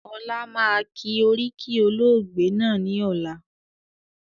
Ọlá máa kí oríkì olóògbé náà ni ọ̀la